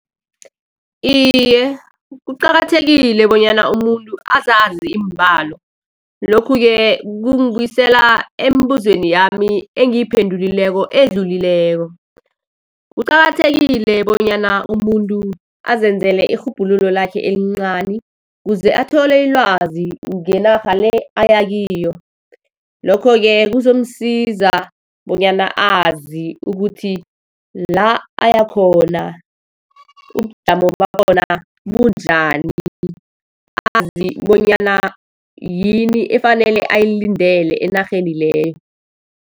Iye, kuqakathekile bonyana umuntu azazi iimbalo. Lokhu-ke kungibuyisela embuzweni yami engiyiphendulileko, edlulileko. Kuqakathekile bonyana umuntu azenzela irhubhululo lakhe elincani, kuze athole ilwazi ngenarha le aya kiyo. Lokho-ke kuzomusiza bonyana azi ukuthi la ayakhona ubujamo bakhona bunjani, azi bonyana yini efanele ayilindele enarheni leyo.